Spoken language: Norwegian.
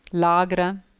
lagre